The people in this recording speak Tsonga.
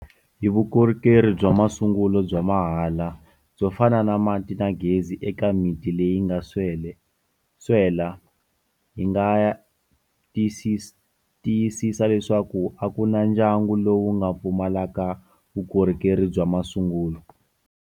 Hi vukorhokeri bya masungulo bya mahala byo fana na mati na gezi eka miti leyi nga swela, hi nga tiyisisa leswaku a ku na ndyangu lowu nga pfumalaka vukorhokeri bya masungulo.